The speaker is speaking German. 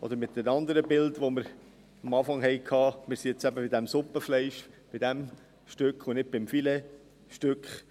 Oder, mit einem anderen Bild, das wir eingangs hatten: Wir sind jetzt eben beim Suppenfleisch, bei diesem Stück, und nicht beim Filetstück.